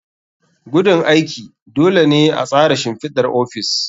Gudun aiki. Dole ne a tsara shimfidar ofis.